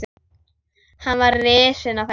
Veistu hvað ég hélt áðan?